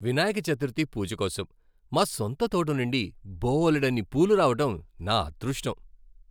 వినాయక చతుర్థి పూజ కోసం మా సొంత తోట నుండి బోలెడన్ని పూలు రావడం నా అదృష్టం.